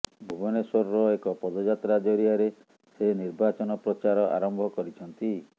ଭୁବନେଶ୍ୱରରେ ଏକ ପଦଯାତ୍ରା ଜରିଆରେ ସେ ନିର୍ବାଚନ ପ୍ରଚାର ଆରମ୍ଭ କରିଛନ୍ତି